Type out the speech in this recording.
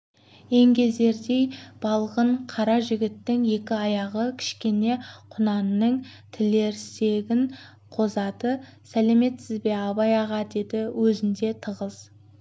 еңгезердей балғын қара жігіттің екі аяғы кішкене құнанның тілерсегін соғады сәлеметсіз абай аға деді өзінде тығыз